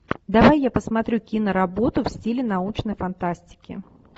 давай я посмотрю киноработу в стиле научной фантастики